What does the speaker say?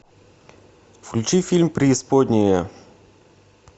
включи фильм преисподняя